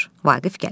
Vaqif gəlir.